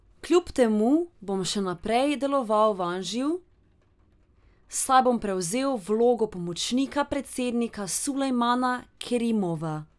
Kljub temu bom še naprej deloval v Anžiju, saj bom prevzel vlogo pomočnika predsednika Sulejmana Kerimova.